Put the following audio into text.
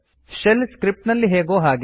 shell script ನಲ್ಲಿ ಹೇಗೋ ಹಾಗೆ